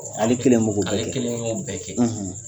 Ale kelen bɛ k'o bɛɛ kɛ ale kelen bɛ k'o bɛɛ kɛ.